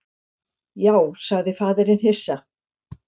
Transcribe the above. Já, sagði faðirinn hissa.